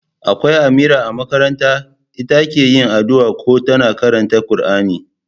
Akwai Amira a makaranta, ita ke yi addu'a ko ta karanta Kur'ani